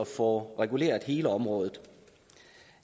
få reguleret hele området